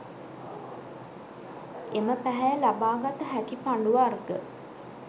එම පැහැය ලබා ගත හැකි පඬු වර්ග